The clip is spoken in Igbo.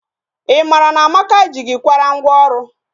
I mara na Amaka ji gị kwara ngwọ ọrụ?